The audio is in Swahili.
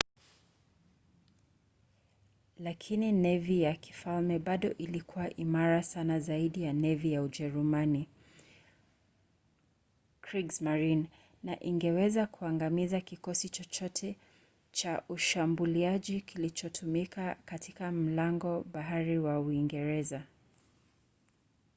lakini nevi ya kifalme bado ilikuwa imara sana zaidi ya nevi ya ujerumani kriegsmarine na ingeweza kuangamiza kikosi chochote cha ushambuliaji kilichotumwa katika mlango-bahari wa uingereza